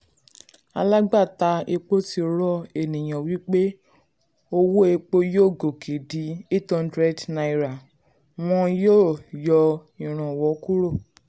alágbátà epo ti rọ ènìyàn wípé owó wípé owó epo yóò gòkè di #800 wón yọ ìrànwọ́ kúrò.